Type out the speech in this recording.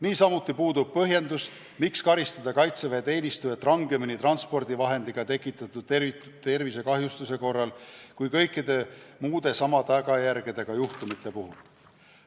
Niisamuti puudub põhjendus, miks karistada kaitseväeteenistujat rangemini transpordivahendiga tekitatud tervisekahjustuse korral kui kõikide muude samade tagajärgedega juhtumite puhul.